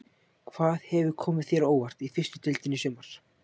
Hvað hefur komið þér á óvart í fyrstu deildinni í sumar?